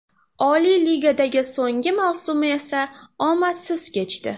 Oliy Ligadagi so‘nggi mavsumi esa omadsiz kechdi.